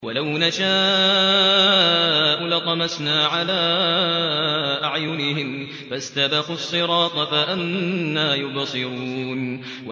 وَلَوْ نَشَاءُ لَطَمَسْنَا عَلَىٰ أَعْيُنِهِمْ فَاسْتَبَقُوا الصِّرَاطَ فَأَنَّىٰ يُبْصِرُونَ